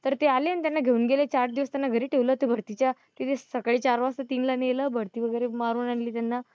तर ते आले आणि त्यांना घेऊन गेले चार दिवस त्यांना घरी ठेवलं तेभारतीच्या तिथे सकाळी चार वाजता तीनला नेलं भरती वगैरे मारून आणली त्यांना.